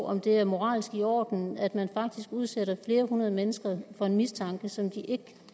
om det er moralsk i orden at man faktisk udsætter flere hundrede mennesker for en mistanke som de ikke